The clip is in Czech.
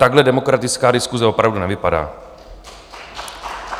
Takhle demokratická diskuse opravdu nevypadá.